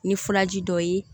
Ni furaji dɔ ye